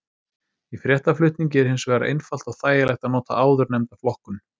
Í fréttaflutningi er hins vegar einfalt og þægilegt að nota áðurnefnda flokkun.